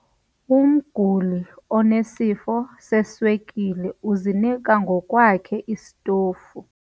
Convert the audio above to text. Umguli onesifo seswekile uzinika ngokwakhe isitofu.